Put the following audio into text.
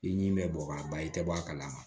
I ɲi bɛ bɔn ka ban i tɛ bɔ a kalama